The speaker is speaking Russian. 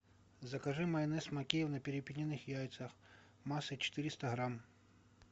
закажи майонез махеев на перепелиных яйцах массой четыреста грамм